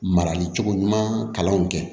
Marali cogo ɲuman kalanw kɛ